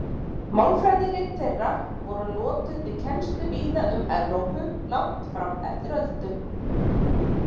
Málfræðirit þeirra voru notuð við kennslu víða um Evrópu langt fram eftir öldum.